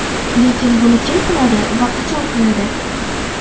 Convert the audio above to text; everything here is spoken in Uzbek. Lekin buni kim qiladi va qachon qiladi?